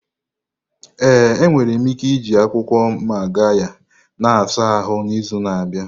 Ee, ị nwere ike iji akwụkwọ Magarya na-asa ahụ n'izu na-abịa.